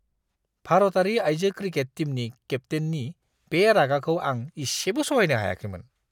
भारतारि आइजो क्रिकेट टीमनि केप्तेननि बे रागाखौ आं इसेबो सहायनो हायाखैमोन!